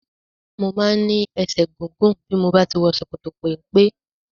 Mo máa ń ní ẹsẹ̀ gígùn bí mo bá ti wọ ṣòkòtò-peńpe.